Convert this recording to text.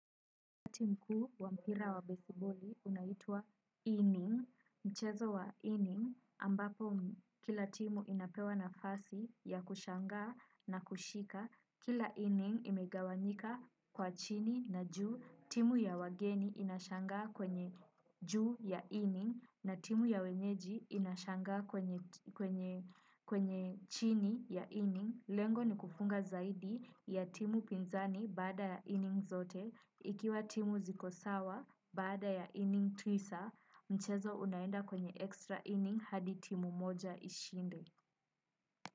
Wakati mkuu wa mpira wa baseballi unaitwa inning, mchezo wa inning ambapo kila timu inapewa nafasi ya kushangaa na kushika, kila inning imegawanyika kwa chini na juu, timu ya wageni inashangaa kwenye juu ya inning na timu ya wenyeji inashangaa kwenye chini ya inning. Lengo ni kufunga zaidi ya timu pinzani baada ya inning zote ikiwa timu ziko sawa baada ya inning tisa mchezo unaenda kwenye extra inning hadi timu moja ishinde.